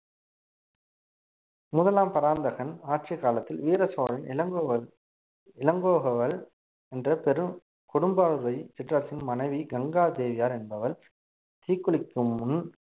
முதலாம் பராந்தகன் ஆட்சி காலத்தில் வீர சோழன் இளங்கோவள் இளங்கோவள் என்ற பெரும் கொடும்பாளூரை சிற்றரசின் மனைவி கங்கா தேவியார் என்பவள் தீக்குளிக்கும் முன்